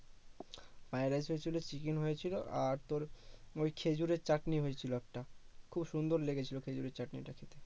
fried rice হয়েছিলো chicken হয়েছিলো আর তোর ওই খেজুরের চাটনি হয়েছিলো একটা খুব সুন্দর লেগেছিল খেজুরের চাটনি না